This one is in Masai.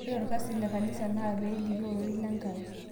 Ore olkasi le kanisa naa pee elikio ororei lenkai